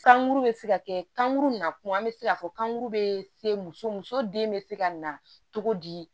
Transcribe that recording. Sankuru bɛ se ka kɛ kankuru na kuma bɛ se k'a fɔ kankuru bɛ se muso muso den bɛ se ka na cogo di